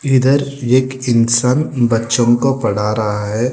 इधर एक इंसान बच्चों को पढ़ा रहा है।